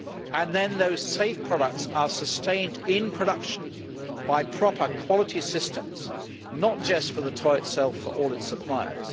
And then those safe products are sustained in production by proper quality systems, not just for the toy itself, but for all its suppliers.